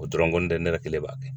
O dɔrɔnw n ko notɛ, ne yɛrɛ kelen b'a kɛ.